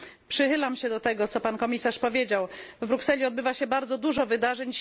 Przychylam się do tego, co Pan Komisarz powiedział w Brukseli odbywa się bardzo dużo wydarzeń.